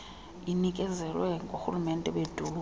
inikezelwa ngoorhulumente beedolophu